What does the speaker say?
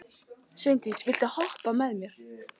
Sveindís, viltu hoppa með mér?